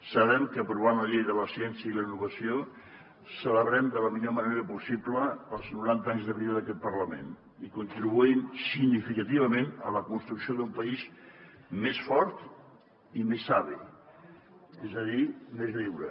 sabem que aprovant la llei de la ciència i la innovació celebrem de la millor manera possible els noranta anys de vida d’aquest parlament i contribuïm significativament a la construcció d’un país més fort i més savi és a dir més lliure